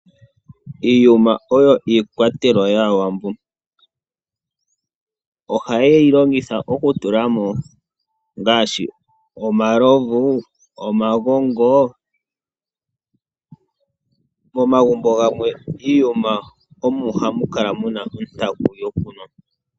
Iiyuma oyo iikwatelwa yaAwambo. Ohaye yi longitha okutulamo ngaashi omalovu noshowo omagongo. Momagumbo gamwe iiyuma omo hamu kala mu na ontaku yokunwa.